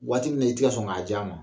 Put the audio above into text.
Waati min na i tɛ ka sɔn k'a di a ma